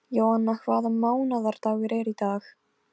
Jóanna, hvaða mánaðardagur er í dag?